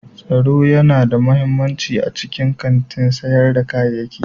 Tsaro yana da mahimmanci a cikin kantin sayar da kayayyaki.